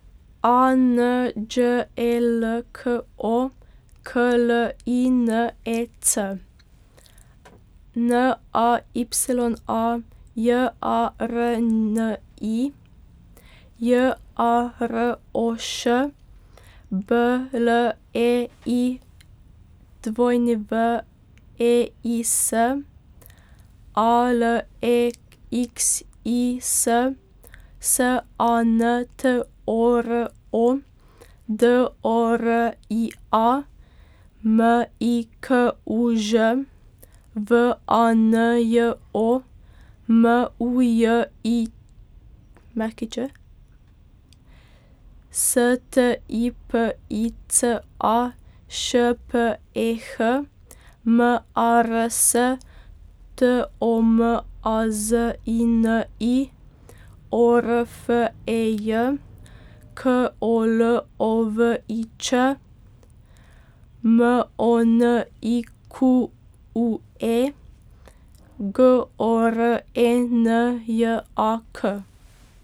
A N Đ E L K O, K L I N E C; N A Y A, J A R N I; J A R O Š, B L E I W E I S; A L E X I S, S A N T O R O; D O R I A, M I K U Ž; V A N J O, M U J I Ć; S T I P I C A, Š P E H; M A R S, T O M A Z I N I; O R F E J, K O L O V I Č; M O N I Q U E, G O R E N J A K.